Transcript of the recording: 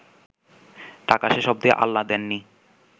টাকা শেষ অবদি আল্লাহ দেননি